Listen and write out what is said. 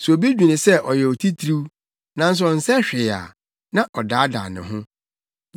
Sɛ obi dwene sɛ ɔyɛ otitiriw nanso ɔnsɛ hwee a, na ɔdaadaa ne ho.